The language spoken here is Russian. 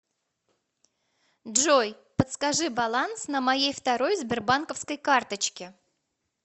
джой подскажи баланс на моей второй сбербанковской карточке